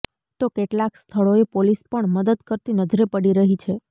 તો કેટલાક સ્થળોએ પોલીસ પણ મદદ કરતી નજરે પડી રહી છે